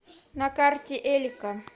на карте элика